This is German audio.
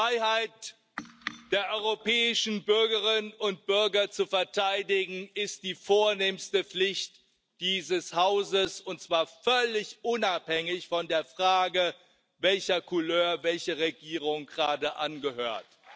Die Freiheit der europäischen Bürgerinnen und Bürger zu verteidigen, ist die vornehmste Pflicht dieses Hauses, und zwar völlig unabhängig von der Frage, welcher Couleur welche Regierung gerade angehört.